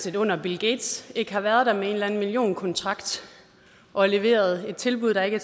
et under at bill gates ikke har været der med en eller anden millionkontrakt og leveret et tilbud der ikke